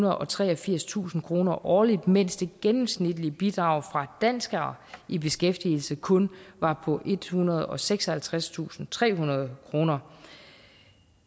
og treogfirstusind kroner årligt mens det gennemsnitlige bidrag fra danskere i beskæftigelse kun var på ethundrede og seksoghalvtredstusindtrehundrede kroner